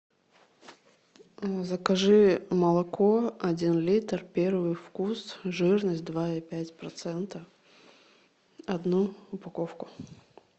закажи молоко один литр первый вкус жирность два и пять процента одну упаковку